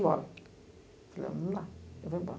embora. Eu falei, não dá, eu vou embora.